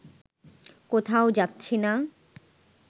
কোথাও যাচ্ছি না